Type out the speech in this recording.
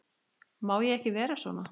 Má ég ekki vera svona?